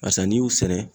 Barisa n'i y'u sɛnɛ